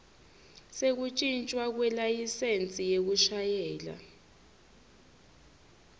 sekuntjintjwa kwelayisensi yekushayela